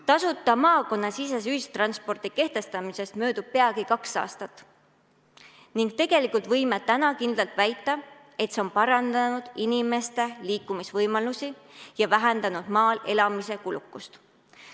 Tasuta maakonnasisese ühistranspordi kehtestamisest möödub peagi kaks aastat ning tegelikult võime täna kindlalt väita, et see on parandanud inimeste liikumisvõimalusi ja vähendanud maal elamise kulukust.